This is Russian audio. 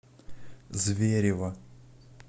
зверево